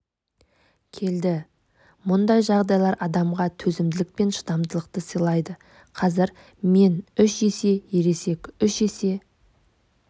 келді мұндай жағдайлар адамға төзімділік пен шыдамдылықты сылайды қазір мен үш есе ересек үш есе